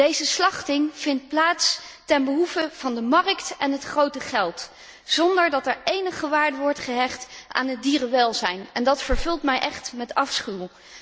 Deze slachting vindt plaats ten behoeve van de markt en het grote geld, zonder dat er enige waarde wordt gehecht aan het dierenwelzijn, en dat vervult mij echt met afschuw.